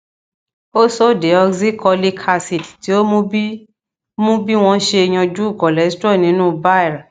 ursodeoxycholic acid ti o mu bi mu bi wọn ṣe yanju cholesterol ninu bile